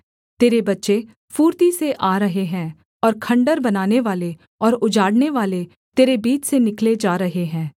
तेरे बच्चें फुर्ती से आ रहे हैं और खण्डहर बनानेवाले और उजाड़नेवाले तेरे बीच से निकले जा रहे हैं